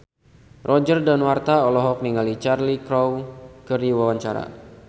Roger Danuarta olohok ningali Cheryl Crow keur diwawancara